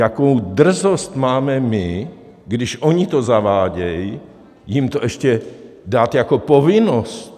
Jakou drzost máme my, když oni to zavádí, jim to ještě dát jako povinnost?